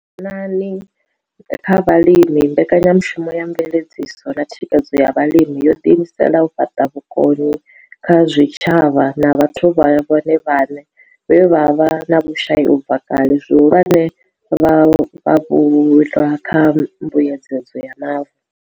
vhukoni kha vhalimi Mbekanya mushumo ya Mveledziso na Thikhedzo ya Vhalimi yo ḓiimisela u fhaṱa vhukoni kha zwitshavha na vhathu vhone vhaṋe vhe vha vha vhe na vhushai u bva kale, zwihulwane, vhavhulwa kha Mbuedzedzo ya Mavu.